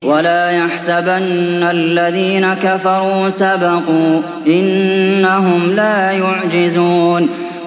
وَلَا يَحْسَبَنَّ الَّذِينَ كَفَرُوا سَبَقُوا ۚ إِنَّهُمْ لَا يُعْجِزُونَ